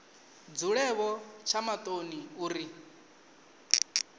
dzule vho tsha maṱoni uri